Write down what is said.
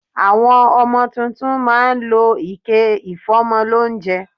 Àwọn ọmọ tuntun má a ń lọ ike ìfómọ lóúnjẹ